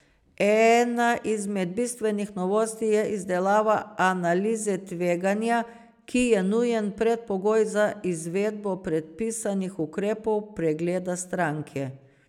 Ena izmed bistvenih novosti je izdelava analize tveganja, ki je nujen predpogoj za izvedbo predpisanih ukrepov pregleda stranke.